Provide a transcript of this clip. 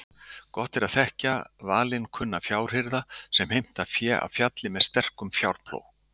Gott er að þekkja valinkunna fjárhirða sem heimta fé af fjalli með sterkum fjárplóg.